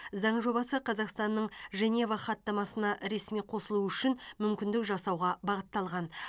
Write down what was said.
заң жобасы қазақстанның женева хаттамасына ресми қосылуы үшін мүмкіндік жасауға бағытталған